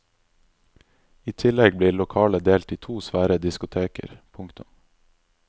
I tillegg blir lokalet delt i to svære diskoteker. punktum